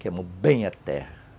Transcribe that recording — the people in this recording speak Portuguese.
Queimou bem a terra.